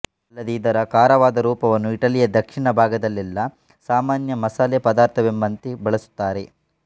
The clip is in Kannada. ಅಲ್ಲದೇ ಇದರ ಕಾರವಾದ ರೂಪವನ್ನು ಇಟಲಿಯ ದಕ್ಷಿಣ ಭಾಗದಲ್ಲೆಲ್ಲಾ ಸಾಮಾನ್ಯ ಮಸಾಲೆ ಪದಾರ್ಥವೆಂಬಂತೆ ಬಳಸುತ್ತಾರೆ